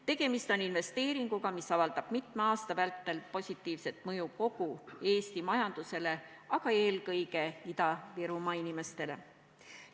Tegemist on investeeringuga, mis avaldab mitme aasta vältel positiivset mõju kogu Eesti majandusele, aga eelkõige Ida-Virumaa inimestele.